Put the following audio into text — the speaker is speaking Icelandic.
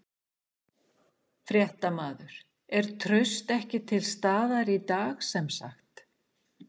Fréttamaður: Er traust ekki til staðar í dag sem sagt?